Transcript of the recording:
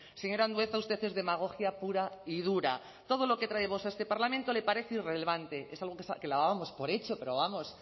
señor andueza usted es demagogia pura y dura todo lo que traemos a este parlamento le parece irrelevante es algo que dábamos por hecho pero vamos